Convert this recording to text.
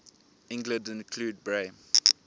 england include bre